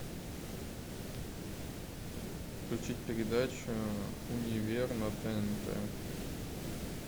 включить передачу универ на тнт